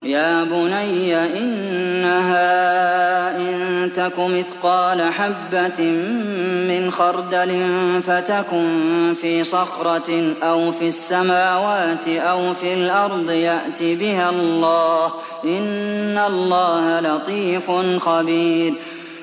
يَا بُنَيَّ إِنَّهَا إِن تَكُ مِثْقَالَ حَبَّةٍ مِّنْ خَرْدَلٍ فَتَكُن فِي صَخْرَةٍ أَوْ فِي السَّمَاوَاتِ أَوْ فِي الْأَرْضِ يَأْتِ بِهَا اللَّهُ ۚ إِنَّ اللَّهَ لَطِيفٌ خَبِيرٌ